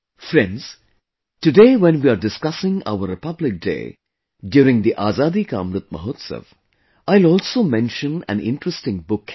Friends, today when we are discussing our Republic Day during the Azadi ka Amrit Mahotsav, I will also mention an interesting book here